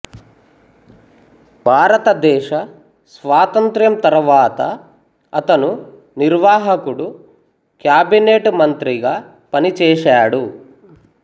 భారతదేశ స్వాతంత్ర్యం తరువాత అతను నిర్వాహకుడు క్యాబినెట్ మంత్రిగా పనిచేశాడు